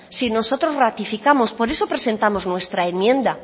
si nosotros ratificamos por eso presentamos nuestra enmienda